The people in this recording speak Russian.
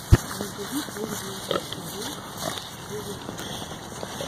набери первую серию дезертода